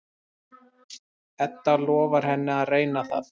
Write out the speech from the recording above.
Edda lofar henni að reyna það.